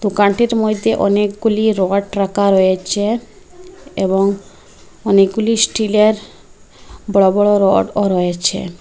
দোকানটির মইদ্যে অনেকগুলি রড রাকা রয়েচে এবং অনেকগুলি স্টিলের বড়ো বড়ো রডও রয়েছে।